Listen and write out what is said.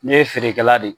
Ne ye feerekɛla de ye